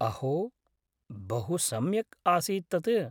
अहो! बहुसम्यक् आसीत् तत्।